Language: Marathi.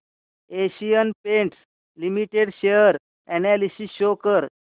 Asian Paints limited share analysis show कर